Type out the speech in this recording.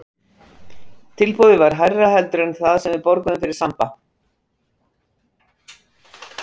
Tilboðið var hærra heldur en það sem við borguðum fyrir Samba.